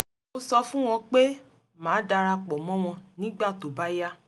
mo sọ fún wọn pé màá dara pọ̀ mọ́ wọn nígbà tó bá yá